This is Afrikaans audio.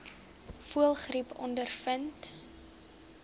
voëlgriep ondervind